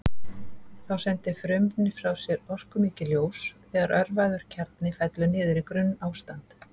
Þá sendir frumefnið frá sér orkumikið ljós þegar örvaður kjarni fellur niður í grunnástand.